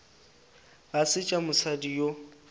ga se tša mosadi yo